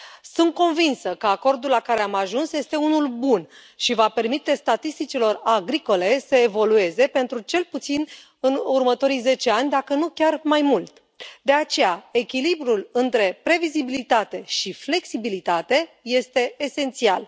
Sunt convinsă că acordul la care am ajuns este unul bun și va permite statisticilor agricole să evolueze pentru cel puțin următorii zece ani, dacă nu chiar mai mult, de aceea echilibrul între previzibilitate și flexibilitate este esențial.